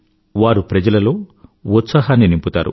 వారు ప్రజలలో ఉత్సాహాన్ని నింపుతారు